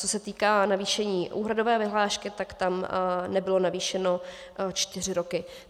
Co se týká navýšení úhradové vyhlášky, tak tam nebylo navýšeno čtyři roky.